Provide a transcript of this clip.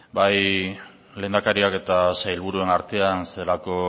bai lehendakariak eta sailburuen artean zelako